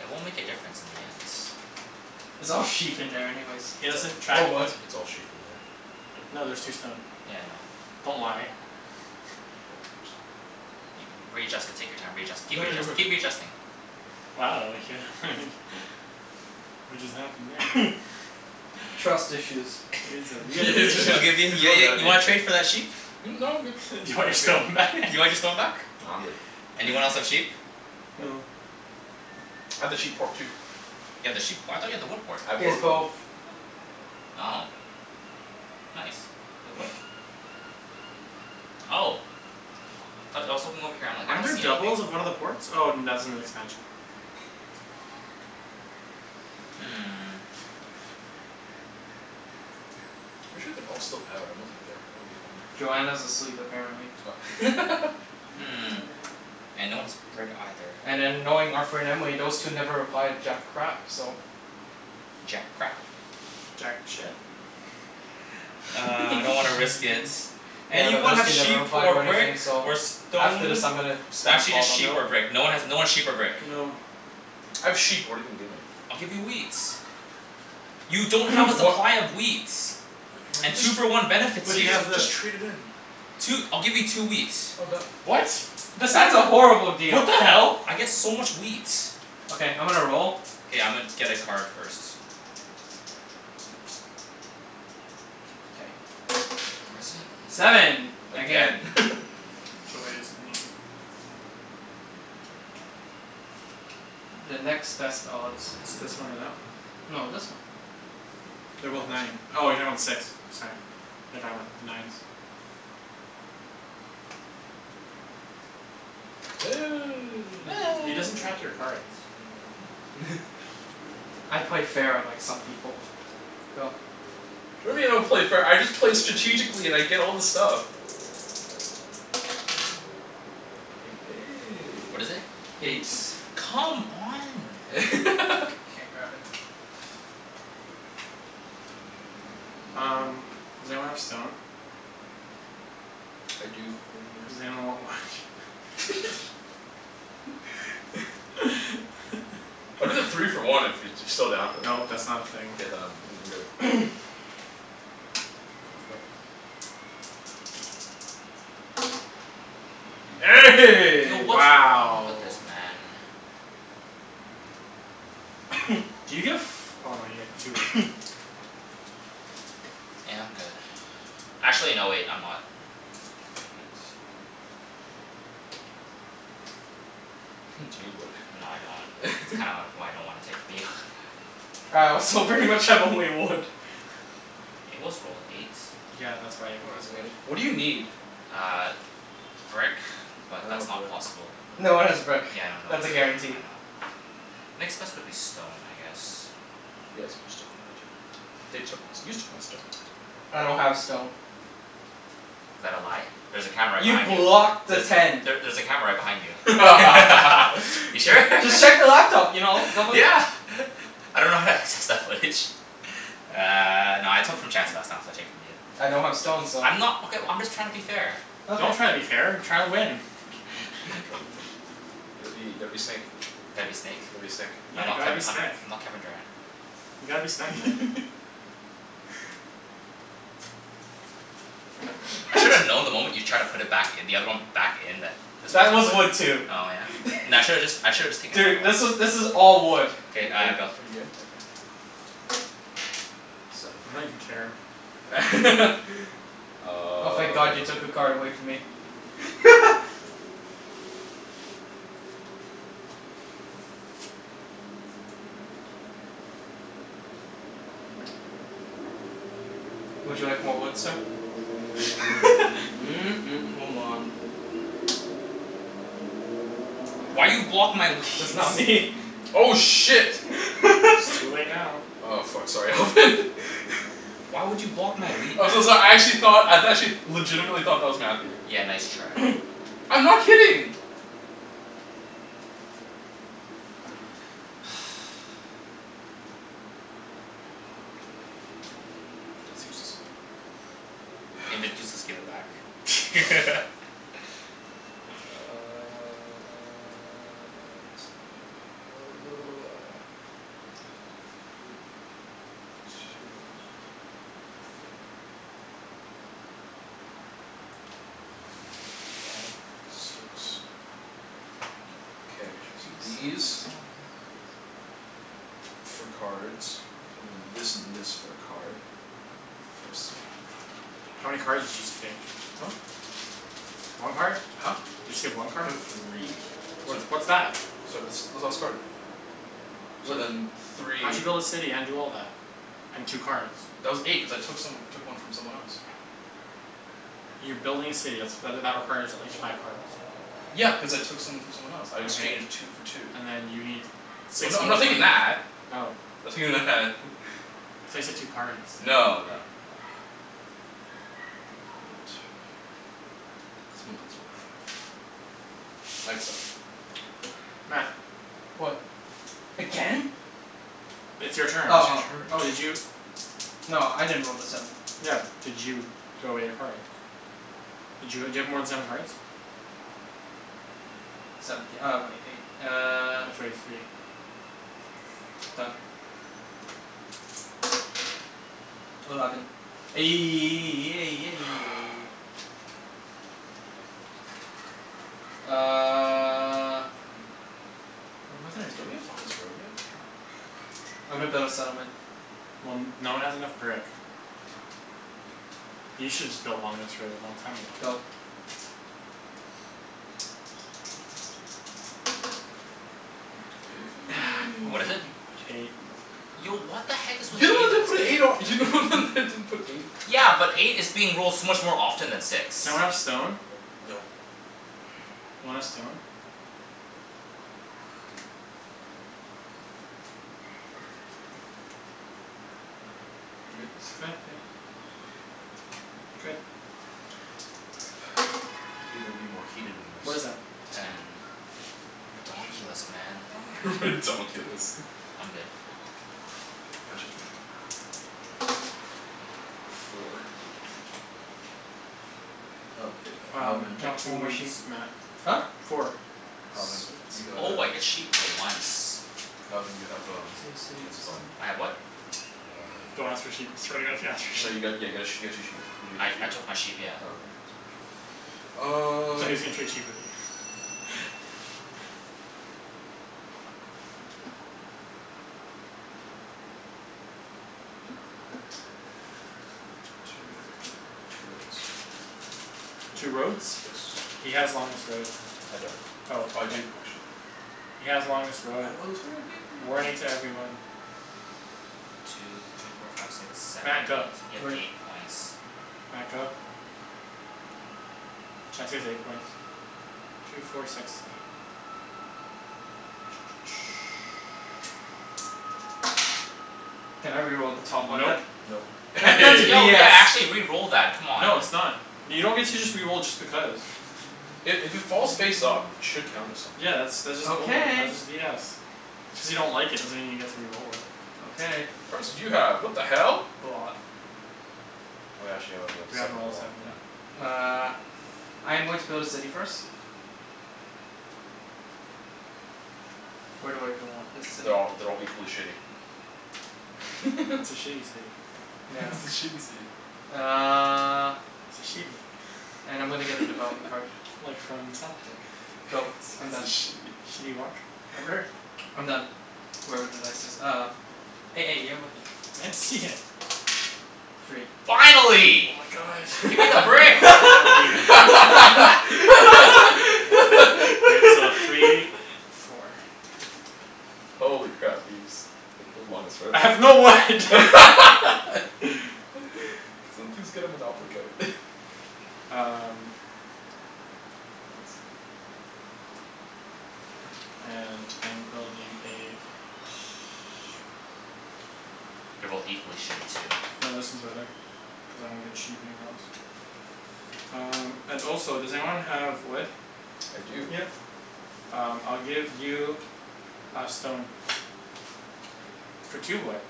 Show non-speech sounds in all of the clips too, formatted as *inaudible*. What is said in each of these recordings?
It won't make a difference in the end. It's all sheep in there anyways. He It's like, doesn't it's track Or wood. it's it's all sheep in there. No there's two *noise* stone. Yeah, I know. Don't lie. No I'm just You can, readjust it, take your time readjust- keep readjust- keep *noise* readjusting. Wow *noise* *laughs* What just happened there? *noise* *laughs* Trust issues. You guys have, you guys Yeah have he's *laughs* issues. I'll really, give in he's yeah really yeah mad at you me. wanna trade for that sheep? Hmm? No, I'm good. *laughs* You You want wanna your trade? stone back? You wanna get stone back? Nah, I'm good. Anyone else have sheep? No. No. I have the sheep port too. You have the sheep p- I thought you had the wood port? I have He has both both. now. Oh nice. Wait what? *noise* Oh. Aw but I was looking over here I'm like "I Aren't don't there see anything." doubles of one of the ports? Oh that's in the expansion. Hmm. I'm pretty sure they're all still out. I don't think they're gonna be home right now. Joanna's asleep apparently. Oh *laughs* Hmm, and no one has brick either. And then knowing Arthur and Emily, those two never reply to jack crap so. Jack crap. Jack shit? Uh I don't wanna risk *laughs* it. *noise* Yeah, but Anyone those have two never sheep reply or to brick anything so or after this stone? I'm gonna N- spam actually call just them. sheep or Nope. brick. No one has, no one's sheep or brick. No. I have sheep, but what're you gonna give me? I'll give you wheat. You don't have a Wha- *noise* supply of wheat. I could And just, two for one benefits I But he could you. jus- has this. just trade it in. Two, I'll give you two wheat. Oh done. What? That's not That's a eno- horrible What deal. the hell? I get so much wheat. Okay, I'm gonna roll. K, I'ma get a card first. K. Fours in. Seven, again. Again *laughs* Joy is me. The next best odds. It's this one or that one. No, this one. They're The both last nine. turn. Oh you're talking about the six, sorry. Thought you're talking about the nines. He doesn't *noise* track *noise* your cards. *laughs* I play fair, unlike some people. Go. What do you mean I don't play fair? I just play strategically and I get all the stuff. What is it? *noise* Eight. Eight. Come on, man. *laughs* Can't grab it. Um, does anyone have stone? I do, what are you gonna give Does me? anyone want wood? *laughs* I'll do the three *laughs* for one if you're still down for that. Nope, that's not a thing. K, then *noise* I'm good. *noise* Go for it. Yo, The what's *noise* wrong Wow. with this man? *noise* Do you get f- oh you get two wood. *noise* Yeah, I'm good. Actually no wait, I'm not. Knight. *laughs* Do Huh. you need wood? No I don't. Kinda *laughs* why I don't wanna take from you. *laughs* All right, so pretty much I have only wood. It was rolled, eight. Yeah, that's Well, why everyone has it's wood. eight. What do you need? Uh brick, but I don't that's have not brick. possible with, No one has brick. yeah I know no That's one a has, guarantee. I know. Next best would be stone, I guess. He has more stone than I do. They took my st- you took my stone. I don't have stone. Is that a lie? There's a camera right You behind you. blocked the There's, ten. there there's a camera right behind you. *laughs* You sure? *laughs* *laughs* Just check the laptop you know? Don't beli- Yeah *laughs* I dunno how to access that footage. Uh no I took from Chancey last time so I'll take from you. I don't have stone so I'm not, okay well I'm just tryin' to be fair. Don't Okay. try to be fair. Try to win *laughs* *laughs* Gotta be, gotta be snake. Gotta be snake? Gotta be a snek. Yeah, I'm not gotta be Kevi- I'm snek. not Kevin Durant. You gotta be snek man. *laughs* I should have *laughs* known the moment you tried to put it back i- the other one back in that This That was was a whiff. wood too. Oh *laughs* yeah? N- I shoulda just I should've just taken another Dude, one. this was this is all wood. Are K, you are uh you go. are you good? Okay. Seven. I don't even care. *laughs* Oh thank god you took a Um card away from me. *laughs* Would you like more wood, sir? *laughs* *noise* hold on. Why you block my That's not wheat? me. Oh shit. It's too *laughs* late now. Oh fuck, sorry Alvin. *laughs* Why would you block my wheat, man? I'm so so- I actually thought, I actually legitimately thought that was Matthew. Yeah, nice try. *noise* I'm not kidding. *noise* That's useless. If it's useless *noise* give it back. *laughs* *noise* Uh let's go *noise* One two three four Five six, K, these *inaudible* for cards and then this and this for a card. For a city. How many cards did you just take? Huh? One card? Huh? You just take one I card? took three What so what's that? So this this last card. So What then di- , how'd you three build a city and do all that? And two cards? That was eight, cuz I took some, took one from someone else. You're building a city. That's that that requires at least five cards. Yeah, cuz I took some from someone else. I Okay, exchanged two for two. and then you need Well six no, I'm more not thinking cards. that. Oh. I'm thinking that. *laughs* I thought you said two cards. No no no. I will put it right here. Someone please roll a five. I'd suck. Oh well. Matt. What? Again? It's your turn. Oh It's your oh. turn *noise* Oh did you *noise* No, I didn't roll the seven. Yeah, but did you throw away your cards? Did you ha- do you have more than seven cards? Seventh th- oh wai- eight. Uh *noise* throw away three One. Done. Eleven. *noise* Fu- *noise* *noise* Uh What am I gonna do? Don't we have longest road yet? Damn. I'm gonna build a settlement. Well n- no one has enough brick. You shoulda just built longest road long time ago. Go. Eight *noise* More What is it? fucking *noise* wood. Eight. Mo- fucking Yo road. what the heck is You're with the one that eight in didn't put this an eight on, you're the only one game? that *noise* didn't put an eight on. Yeah, but eight is being rolled so much more often than six. Does anyone have stone? Nope *noise* Want a stone? You good? *inaudible* *noise* Good. *noise* Figured it'd be more heated than What is this. that? Ten. Ten. Ridonkulus man. *laughs* Ridonkulus. I'm good. K, my turn. *noise* Four. Oh hey uh Um Alvin. get No, two one more woods, sheep. Matt. Huh? Four? Four. Alvin, Sweet. you got uh Oh I get sheep for once. Alvin you have um what's it called *inaudible* I have what? *noise* Don't ask for uh sheep. I swear to god if you ask for No you sheep. got, yeah got a you got two sheep. Did you get I two sheep? I took my sheep, yeah. Oh okay, just making sure. Um Thought he was gonna trade sheep with you *laughs* Two for two roads. Two roads? Yes. He has longest road. I don't. Oh Oh I then do, actually. He has longest road. I have longest road, yay! Warning to everyone. Two three four five six seven Matt, eight, go. you have Wait. eight points. Matt, go. Chancey has eight points. Two four six eight. Can I re-roll the top one Nope. then? Nope That that's Yo yeah, BS. *noise* actually re-roll that, come on. No it's not. You don't get to just re-roll just because. I- if it falls face up it should count as something. Yeah that's, that's just balder- Okay. that's just BS. Just because you don't like it doesn't mean you get to re-roll it. Okay. How many cards did you have? What the hell? A lot. Oh yeah, actually haven't rolled We haven't seven in rolled a a while, seven, yeah. no. Uh I am going to build a city first. Where do I even want this city? They're all, they're all equally shitty. It's a *laughs* shitty city. *laughs* It's a Yes. shitty city. Uh It's a shitty And I'm gonna get a development card. *laughs* Like from South Park. Go, *laughs* I'm It's a done. shitty. Shitty Wok? Remember? I'm done, wherever the dice is. Um. *noise* You're looking. I didn't see it. Three. Finally. Oh my god. Gimme I the know. brick. I'm so happy. Wait, so *laughs* three, *laughs* four. Holy crap, Ibs. Way to build longest road. *laughs* I Can have no wood. *laughs* someone please get a monopoly card? *laughs* Um Okay, clean this up. And I am building a sh- They're both equally shitty too. No, this one's better, cuz I don't get sheep anywhere else. Um and also does anyone have wood? I do. Yep. Um I'll give you a stone. For two wood.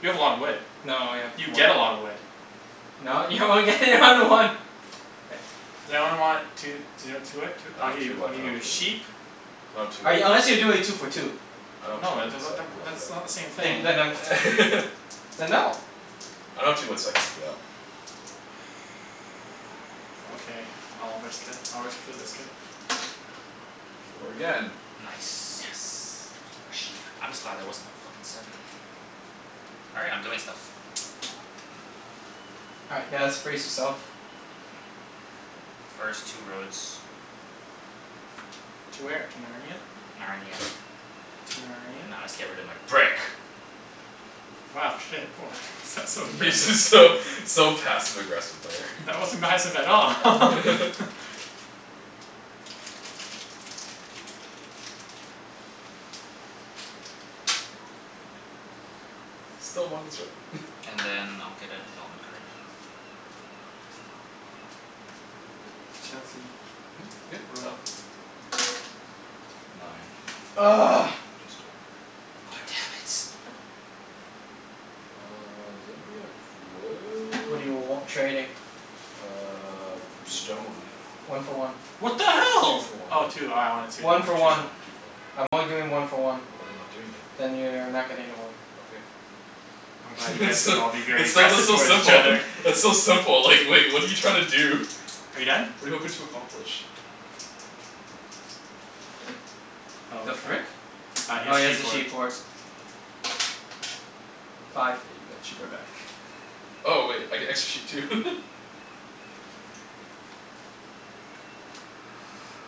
You have a lot of wood. No, I have You four. get a lotta wood. No, you only get *laughs* one to one. K. Does anyone want two *inaudible* I I'll don't give have you, two I'll wood, I give you don't have a two wood. sheep. No two I, wood. unless you're doing two for two. I don't have two No, uh wood the the so I the can't w- help that's you not out. the same Then thing. y- then um *laughs* Then no. I don't have two wood so I can't help you out. Okay, I'll risk it. I'll risk it for the biscuit. Four again. Yes. Nice. More sheep. I'm just glad that wasn't a fuckin' seven. All right, I'm doing stuff. All right guys, brace yourself. First two roads. To where? To Narnia? Narnia. *noise* To Narnia? Now I'll just get rid of my brick. Wow shit, woah that's so *laughs* Yeah aggressive. just so so passive aggressive there. *laughs* That wasn't passive at all. *laughs* *laughs* Still longest road *laughs* And then I'll get a development card. Chancey, Mhm? Good? Go. roll. Nine. *noise* *noise* God damn it. Uh does anybody have What do you w- wood? trading? Uh stone. One for one. What the Two hell? for one. Oh two, oh I wanted two, my One for bad. Two for one, one. two for one. I'm only doing one for one. Then I'm not doing it. Then you are not getting the wood. Okay. I'm glad *laughs* you guys It's can still, all be very it's so aggressive though towards each simple. other. *laughs* It's so simple like like what're you trying to do? *laughs* Are you done? What're you hoping to accomplish? Oh The okay. frick? Uh he Oh has he has a sheep sheep port. port. Oh Five. *noise* got the sheep right back. Oh wait, I get extra sheep too. *laughs*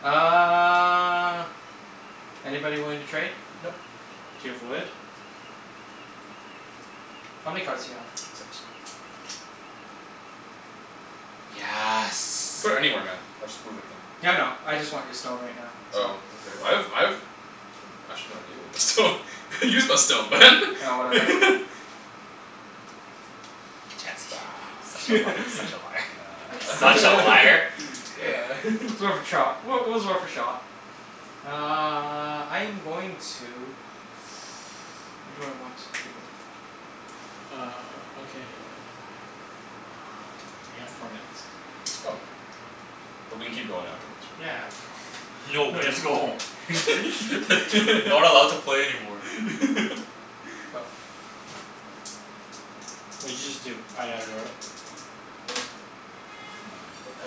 Uh anybody willing to trade? Nope. Do you have wood? How many cards do you have? Six. Yes. Put it anywhere man, I'll just move it again. Yeah, I know, I just want your stone right now, so Oh okay, I have I have Oh actually I gave away my stone, *laughs* I used my stone *noise* Oh whatever. *laughs* Chancey *laughs* Such a li- such a *laughs* liar. *noise* Such a liar. *laughs* It's worth a *laughs* trot. Well it was worth a shot. Uh I'm going to *noise* what do I want to do? Uh okay. Uh we have four minutes. Oh. But we can keep going afterwards right? Yeah *laughs* no No, you have to go home. *noise* *laughs* Not allowed to play anymore. Go. *laughs* What did you just do? Oh you haven't rolled?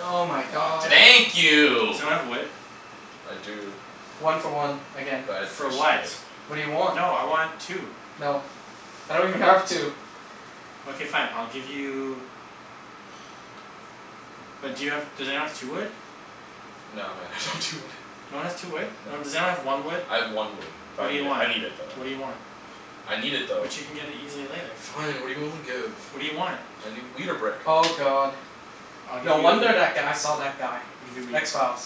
Oh my God damn god. it. Thank Does you. anyone have wood? I do. One for one, again. But I For actually what? need it. What do you want? No, I want two. No, I don't even have two. Okay fine, I'll give you But do you have, does anyone have two wood? No man, I don't have two wood. No one has two wood? No No. one, does anyone have one wood? I have one wood. But What I do you need it, want? I need it though. What do you want? *noise* I need it though. But you can get it easily later. Fine, what're you willing to give? What do you want? I need wheat or brick. Oh god. I'll give No wonder you that guy saw that guy. I'll give you wheat. X Files.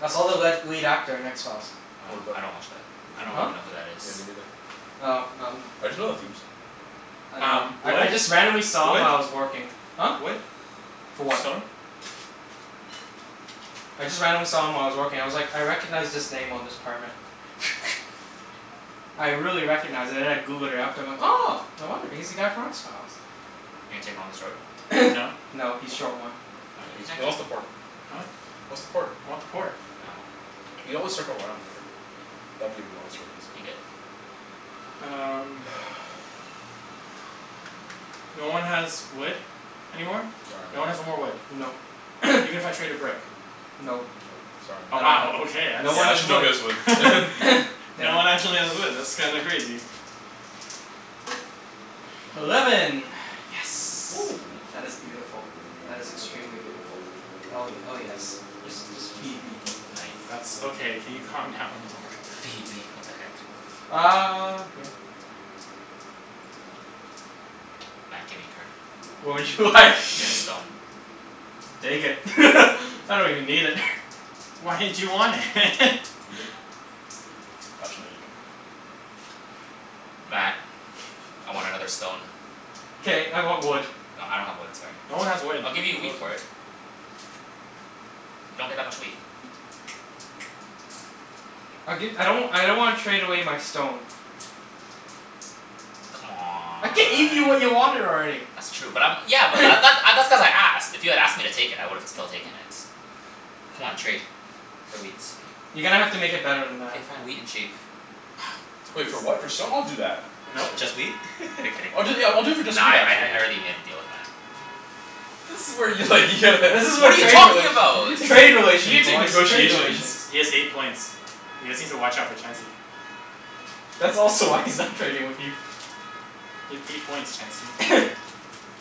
I saw the What? led lead actor in X Files. What Oh about I him? don't watch that. I Me don't Huh? neither. even know who that is. Yeah, me neither. Oh um I just know the theme song. I know. Um I I wood? just randomly saw him while I was working. Huh? Wood? Wood? For what? Stone? I just randomly saw him while I was working. I was like "I recognize this name on this permit." *laughs* I really recognized and then I Googled it after and I'm like "Oh no wonder. He's the guy from X Files." You gonna take longest road? No? *noise* No, he's short one. Wha- why No, you he's connect he us wants the port. He Huh? wants the port. I want the port. Oh. You always circle around later. That'd give him longest road easy. You good? Um *noise* *noise* No one has wood anymore? No. Sorry No man. one has no more wood? Nope. Even if *noise* I traded brick? Nope. Nope, sorry Oh I man. don't wow, have, okay, that's no one Yeah, has actually wood. nobody has wood *laughs* *laughs* *noise* Damn No one it. actually has wood, that's kinda crazy. Eleven. Eleven. Yes. Oh. *noise* That is beautiful. That is extremely beautiful. Oh ye- oh yes. Just just feed me. That's okay, can you calm down a little? "Feed me." What the heck? Um yeah. Matt, gimme a card. What would you like? *noise* Get a stone. Take it *laughs* I don't even need it. *laughs* Why did you want it? *laughs* You good? Actually no, you're not good. Don't worry. Matt, *noise* I want another stone. K, I want wood. No I don't have wood, sorry. No one has wood. I'll give you a No wheat one has for wood. it. You don't get that much wheat. I'll gi- I don't w- I don't wanna trade away my stone. I gave you what you C'mon. wanted already. That's true but I'm, yeah but that *noise* th- uh that's cuz I asked. If you had asked me to take it I would've still taken it. C'mon trade, for wheat. You're gonna have to make it better than that. K fine, wheat and sheep. Wait for what, for stone? I'll do that. Nope. Next turn. Just wheat? *laughs* I'm kidding. I'll do it yeah, I'll do it for just Nah wheat, I I actually. I already made a deal with Matt. *noise* This is where you like you'd This is *laughs* What what are you trade talking relations, about? You gonna trade take you relations gonna take boys, trade negotiations. relations. He has eight points. You guys need to watch out for Chancey. That's also why he's not trading with you. You have eight points Chancey. *noise*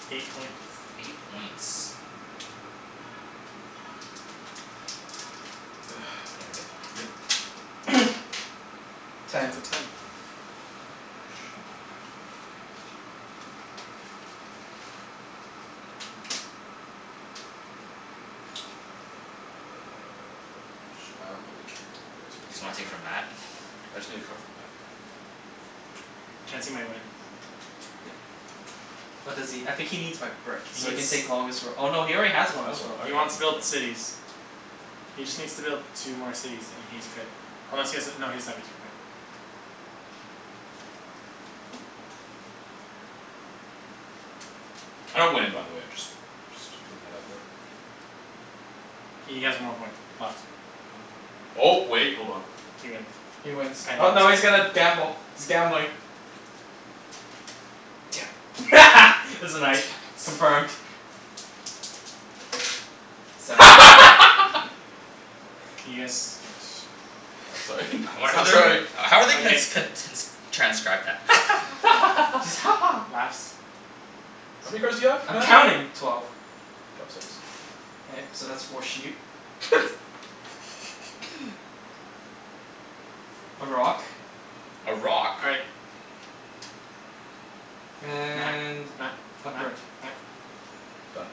Eight points. Eight points. *noise* K, K, I'm good. good? *noise* Ten. It's Ten. a ten. A sheep. And then *noise* Uh ch- I don't really care where it goes. Matt Just give me a wanna take card. from Matt? *noise* I just need a card from Matt. Chancey might win. *noise* What does he, I think he needs my brick He so he needs can take longest roa- oh no, he already has I have long, longest road. I He already have wants to build longest road. cities. He just needs to build two more cities and he's good. Unless he has a, no he doesn't have a two point. I don't win by the way, I just just putting that out there. He has one more point left. Um oh wait, hold on. He wins. He wins. Oh no he's gonna gamble. He's gambling. Damn it. *laughs* It's a Damn night. it. Confirmed. Seven. *laughs* *laughs* Can you guys Oh sorry I wonder how so- they're sorry gon- how are they gonna Okay. ts- con- t- n- s- transcribe that? *laughs* Just *laughs* "Ha ha" "Laughs." How many cards do you have I'm Matt? counting. Twelve. Drop six. K, so that's four sheep. *laughs* *laughs* A rock. A rock? All right. Matt, And Matt, a Matt, brick. Matt Done?